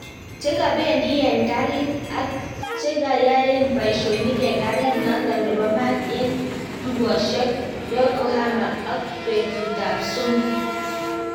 Chengapendin eng garit ak chenganyaen paishonik eng garit naton nepo mat eng tukoshek Yokohama ok petut ap somok